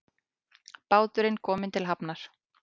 Báturinn kominn til hafnar